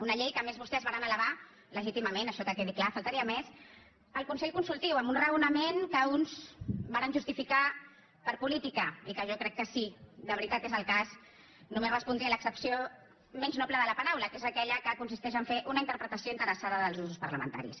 una llei que a més vostès varen elevar legítimament això que quedi clar només faltaria al consell consultiu amb un raonament que uns varen justificar per política i que jo crec que si de veritat és el cas només respondria a l’accepció menys noble de la paraula que és aquella que consisteix a fer una interpretació interessada dels usos parlamentaris